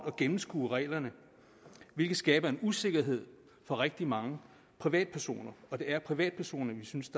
at gennemskue reglerne hvilket skaber en usikkerhed for rigtig mange privatpersoner og det er privatpersoner vi synes